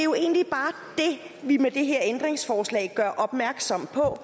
vi med det her ændringsforslag gør opmærksom på